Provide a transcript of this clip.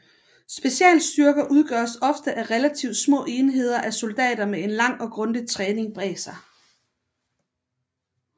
Specialstyrker udgøres ofte af relativt små enheder af soldater med en lang og grundig træning bag sig